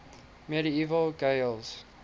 medieval gaels